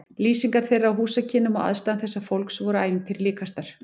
Lýsingar þeirra á húsakynnum og aðstæðum þessa fólks voru ævintýri líkastar.